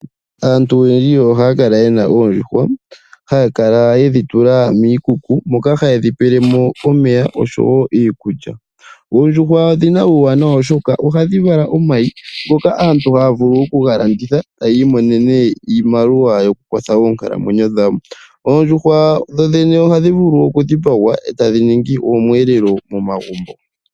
Aantu oyendji ohaya kala yena oondjuhwa ohaya kala yedhi tula miikuku moka hadhi pewelwa mo omeya niikulya. Oondjuhwa odhina uuwanawa oshoka ohadhi vala omayi ngoka aantu haya vulu okugalanditha etaya imonene iimaliwa yokukwatha oonkalamwenyo dhawo. Oondjuhwa ohadhi vulu okudhipangwa etadhi ningi omwelelo momagumbo.